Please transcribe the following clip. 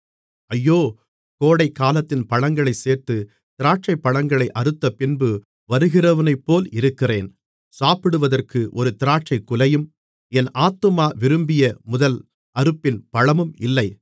ஐயோ கோடைக்காலத்தின் பழங்களைச் சேர்த்து திராட்சைபழங்களை அறுத்தபின்பு வருகிறவனைப்போல் இருக்கிறேன் சாப்பிடுவதற்கு ஒரு திராட்சைக்குலையும் என் ஆத்துமா விரும்பிய முதல் அறுப்பின் பழமும் இல்லை